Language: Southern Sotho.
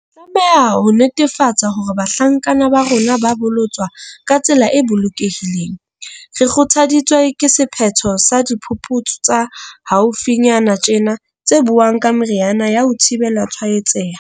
Re tlameha ho netefatsa hore bahlankana ba rona ba bolotswa ka tsela e bolokehileng. Re kgothaditswe ke sephetho sa diphuputsu tsa haufi nyana tjena tse buang ka meriana ya ho thibela tshwaetseha.